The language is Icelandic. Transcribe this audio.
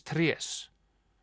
trés